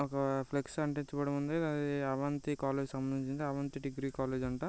ఒక ఫ్లెక్స్ అంటించబడి ఉంది ఇది అవంతి కాలేజీ కి సంబంధించినటువంటి అవంతి డిగ్రీ కాలేజ్ .